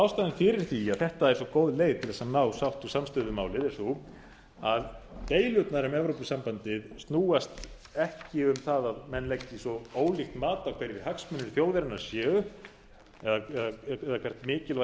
ástæðan fyrir því að þetta er svo góð leið til þess að ná sátt og samstöðu um málið er sú að deilurnar um evrópusambandið snúast ekki um það að menn leggi svo ólíkt mat á hverjir hagsmunir þjóðarinnar séu eða hvert mikilvægi